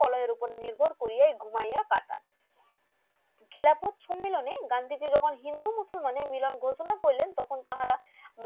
কলয়ের ওপর নির্ভর কইয়া ঘুমিয়ে কাটান ঘিলাকোট সম্মেলন এ গান্ধীজি যখন হিন্দু মুসলানের মিলন ঘোষণা করিলেন তখন তাহারা